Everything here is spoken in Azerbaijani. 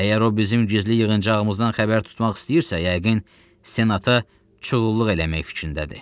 Əgər o bizim gizli yığıncağımızdan xəbər tutmaq istəyirsə, yəqin senata çuğulluq eləmək fikrindədir.